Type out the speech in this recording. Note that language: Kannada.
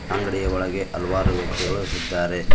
ಅಂಗ್ಡಿಯ ಒಳಗೆ ಹಲವಾರು ವ್ಯಕ್ತಿಗಳು ಇದ್ದಾರೆ.